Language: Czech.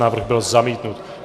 Návrh byl zamítnut.